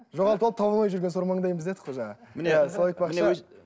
жоғалтып алып таба алмай жүрген сор маңдаймыз дедік қой жаңа мне сол айтпақшы